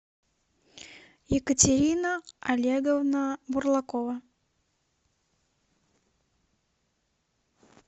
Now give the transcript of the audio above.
екатерина олеговна бурлакова